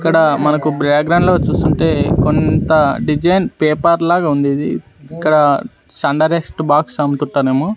ఇక్కడ మనకు background లో చూస్తుంటే కొంత డిజైన్ పేపర్ లాగుంది ఇది. ఇక్కడ సన్ డైరెస్ట్ బాక్స్ అమ్ముతుంటారేమో.